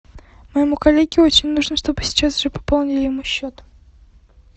моему коллеге очень нужно чтобы сейчас же пополнили ему счет